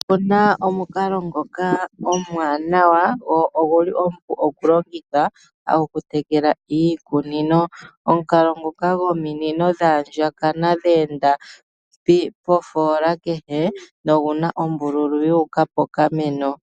Opu na omukalo ngoka omwaanawa go oguli omupu okulongitha oku tekela iikunino. Omukalo nguka gominino dha andjakana dhe enda pofoola kehe na kehe omunino oguna ombululu yuuka pokameno.